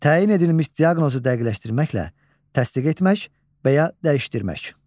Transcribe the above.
Təyin edilmiş diaqnozu dəqiqləşdirməklə təsdiq etmək və ya dəyişdirmək.